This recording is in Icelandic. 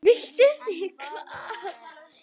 Vitið þið hvað.